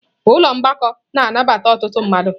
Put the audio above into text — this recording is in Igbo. Ụlọ mgbakọ na-anabata ọtụtụ mmadụ.